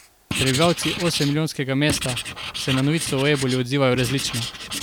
Prebivalci osemmilijonskega mesta se na novico o eboli odzivajo različno.